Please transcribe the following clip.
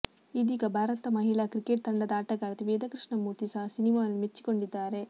ಇದೀಗ ಭಾರತ ಮಹಿಳಾ ಕ್ರಿಕೆಟ್ ತಂಡದ ಆಟಗಾರ್ತಿ ವೇದ ಕೃಷ್ಣ ಮೂರ್ತಿ ಸಹ ಸಿನಿಮಾವನ್ನು ಮೆಚ್ಚಿಕೊಂಡಿದ್ದಾರೆ